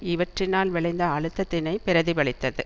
இவற்றினால் விளைந்த அழுத்தத்தினை பிரதிபலித்தது